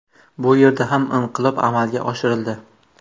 Bu yerda ham inqilob amalga oshirildi.